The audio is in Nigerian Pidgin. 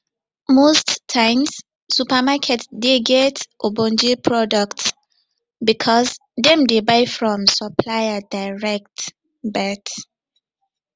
most times supermarket dey get ogbonge product because dem dey buy from supplier direct but